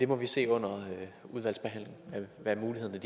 må se under udvalgsbehandlingen hvad mulighederne